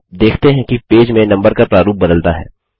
आप देखते हैं कि पेज में नम्बर का प्रारूप बदलता है